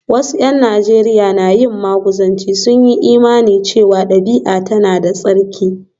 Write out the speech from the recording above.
Wasu ’yan Najeriya na yin maguzanci, sun yi imanin cewa dabi’a tana da tsarki